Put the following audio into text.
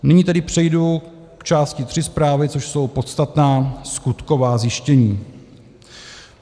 Nyní tedy přejdu k části III zprávy, což jsou podstatná skutková zjištění.